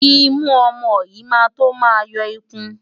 Imú ọmọ yín máa tó máa yọ ikun.